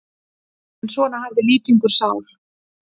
En svona hafði Lýtingur sál.